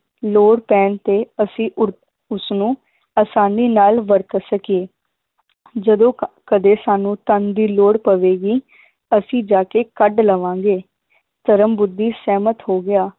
ਲੋੜ ਪੈਣ ਤੇ ਅਸੀ ਉਰ~ ਉਸਨੂੰ ਆਸਾਨੀ ਨਾਲ ਵਰਤ ਸਕੀਏ ਜਦੋਂ ਕ~ ਕਦੇ ਸਾਨੂੰ ਧਨ ਦੀ ਲੋੜ ਪਵੇਗੀ ਅਸੀਂ ਜਾ ਕੇ ਕੱਢ ਲਵਾਂਗੇ ਧਰਮ ਬੁੱਧੀ ਸਹਿਮਤ ਹੋ ਗਿਆ